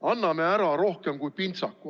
Anname ära rohkem kui pintsaku.